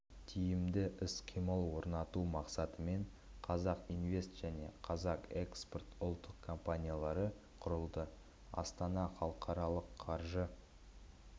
тиімді іс-қимыл орнату мақсатымен қазақ инвест және қазақ экспорт ұлттық компаниялары құрылды астана халықаралық қаржы